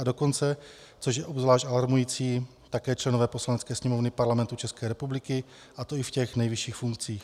A dokonce, což je obzvlášť alarmující, také členové Poslanecké sněmovny Parlamentu České republiky, a to i v těch nejvyšších funkcích.